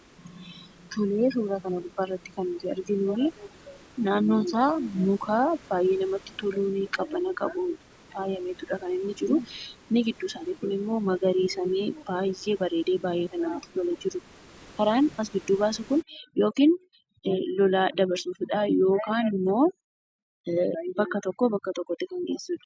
Tolee. suuraa kana gubbatti kan nuti arginuu, naannoon isaa mukaa baay'ee namatti toluun, qabana qabuun fayyameetudha kan inni jiru. Inni gidduu isaani kun immoo magarisamee baay'ee bareedee, baay'ee namatti tolee jirudha. Karaan as giduu baasu loolaa dabarsuufidha yookaan immoo bakka tokko bakka tokkotti kan gessuudha.